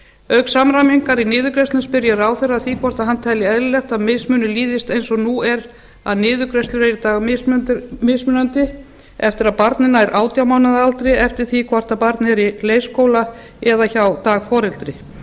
auk samræmingar í niðurgreiðslum spyr ég ráðherra að því hvort hann telji eðlilegt að mismunur líðist eins og nú er að niðurgreiðslur eru í dag mismunandi eftir að barnið nær átján mánaða aldri eftir því hvort barn er í leikskóla eða hjá dagforeldri